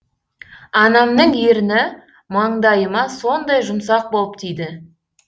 анамның ерні маңдайыма сондай жұмсақ болып тиді